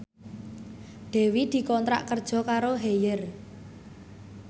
Dewi dikontrak kerja karo Haier